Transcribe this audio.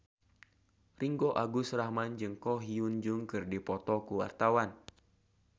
Ringgo Agus Rahman jeung Ko Hyun Jung keur dipoto ku wartawan